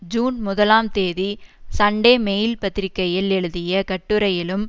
June முதலாம் தேதி Sunday Mail பத்திரிகையில் எழுதிய கட்டுரையிலும்